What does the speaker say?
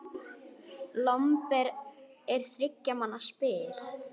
Lomber er þriggja manna spil.